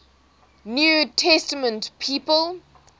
new testament people